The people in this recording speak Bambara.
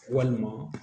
Walima